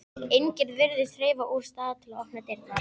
Enginn virðist hreyfast úr stað til að opna dyrnar.